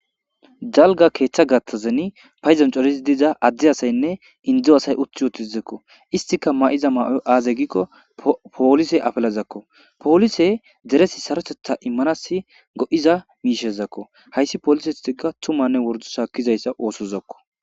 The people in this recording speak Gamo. dalga keeththa gattazeni payzancorizi diza adde asaynne indzo asay utti uotizekko istika ma7iza ma7o aazey gikko poolise afelazakko poolise deresi sarotetha immanasi go7iza miishezakko hayssi poolisetika tumanne wordu shaakkizayssa oosozokko